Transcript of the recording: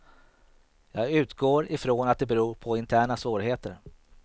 Jag utgår ifrån att det beror på interna svårigheter.